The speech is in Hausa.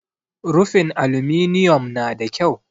Rufin aluminiyom nada kyau.